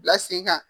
Bila sen kan